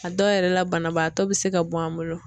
A dɔw yɛrɛ la banabaatɔ be se ka bɔ an bolo.